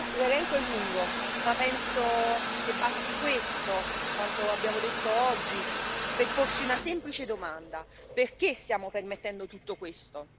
L'elenco è lungo ma penso che basti questo, quanto abbiamo detto oggi, per porsi una semplice domanda perché siamo permettendo tutto questo?